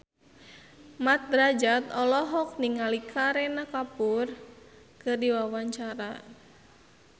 Mat Drajat olohok ningali Kareena Kapoor keur diwawancara